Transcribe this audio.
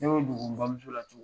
Ne y'o dogo, n bamuso la cogo